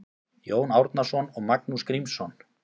Jón Árnason og Magnús Grímsson